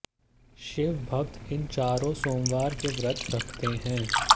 शिव भक्त इन चारों सोमवार के व्रत रखते हैं